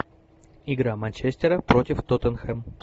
игра манчестера против тоттенхэм